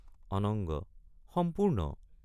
অনঙ্গ—সম্পূৰ্ণ।